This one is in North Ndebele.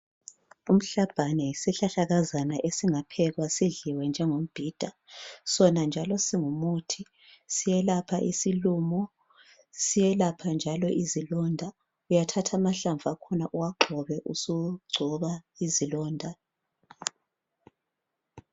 Umhlabhane yisihlahlakazana esingaphekwa sidliwe njengombhida sona njalo singumuthi siyelapha isilumo siyelapha njalo izilonda uyathatha amahlamvu akhona uwagxobe usugcoba izilonda.